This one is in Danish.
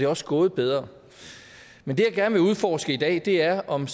også gået bedre men det jeg gerne vil udforske i dag er om